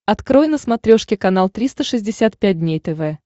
открой на смотрешке канал триста шестьдесят пять дней тв